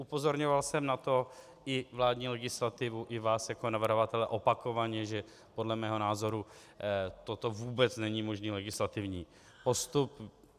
Upozorňoval jsem na to i vládní legislativu, i vás jako navrhovatele opakovaně, že podle mého názoru toto vůbec není možný legislativní postup.